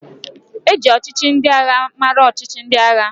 E ji ọchịchị ndị agha mara ọchịchị ndị agha.